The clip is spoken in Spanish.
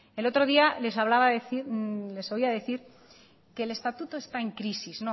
el otro día les oía decir que el estatuto está en crisis